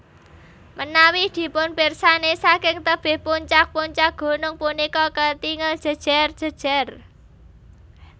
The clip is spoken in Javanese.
Menawi dipunpirsani saking tebih puncak puncak gunung punika ketingal jejer jejer